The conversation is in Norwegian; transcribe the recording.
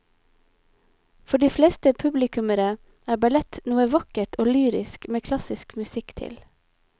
For de fleste publikummere er ballett noe vakkert og lyrisk med klassisk musikk til.